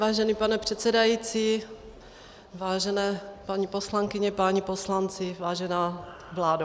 Vážený pane předsedající, vážené paní poslankyně, páni poslanci, vážená vládo.